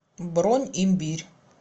бронь имбирь